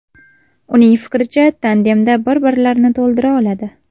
Uning fikricha, tandemda bir-birlarini to‘ldira oladi.